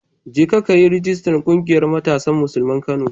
Jeka ka yi rijistar ƙungiyar Matasan Musulman Kano.